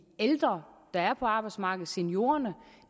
af ældre der er på arbejdsmarkedet seniorerne